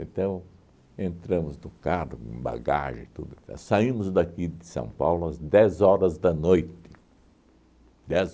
Então, entramos no carro, com bagagem e tudo, saímos daqui de São Paulo às dez horas da noite.